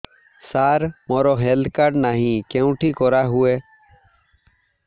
ସାର ମୋର health card ନାହିଁ କେଉଁଠି କରା ହୁଏ